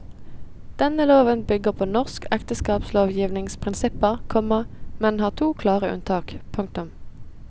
Denne loven bygger på norsk ekteskapslovgivnings prinsipper, komma men har to klare unntak. punktum